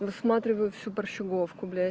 просматриваю всю борщеговку бля